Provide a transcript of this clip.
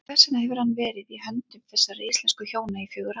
En hvers vegna hefur hann verið í höndum þessara íslensku hjóna í fjögur ár?